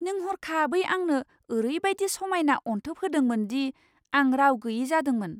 नों हरखाबै आंनो ओरैबादि समायना अनथोब होदोंमोन दि आं राव गोयि जादोंमोन।